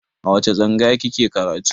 A wace tsangaya kike karatu?